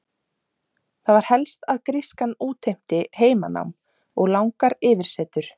Það var helst að grískan útheimti heimanám og langar yfirsetur.